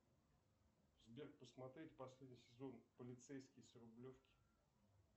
сбер посмотреть последний сезон полицейский с рублевки